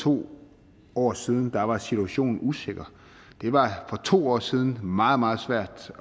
to år siden var situationen usikker det var for to år siden meget meget svært